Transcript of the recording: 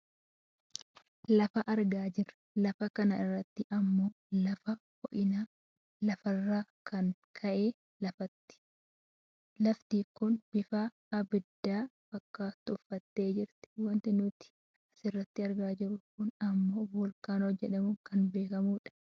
Lafa argaa jirra. Lafa kana irratti ammoo lafa ho'innaa lafaarran kan ka'e lafti kun bifa abidda fakkaatu uffattee jirti. Wanti nuti asirratti argaa jirru kun ammoo voolkaanoo jedhamuun kan beekkamudha.